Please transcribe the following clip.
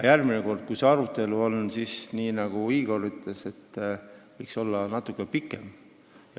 Järgmine kord, kui see arutelu on, siis, nagu Igor ütles, võiks see olla natuke pikem.